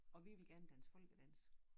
Og vi ville gerne danse folkedans